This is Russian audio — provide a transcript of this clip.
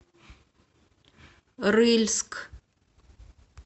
рыльск